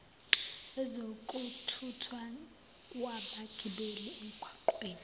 yezokuthuthwa kwabagibeli emgaqweni